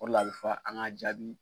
O de la a bɛ fɔ an ka jaabi.